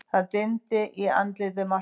Það dimmdi í andliti Marteins.